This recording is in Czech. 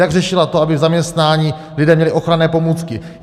Jak řešila to, aby v zaměstnání lidé měli ochranné pomůcky?